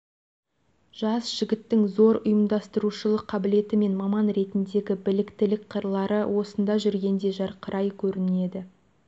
жас жігіттің зор ұйымдастырушылық қабілеті мен маман ретіндегі біліктілік қырлары осында жүргенде жарқырай көрінеді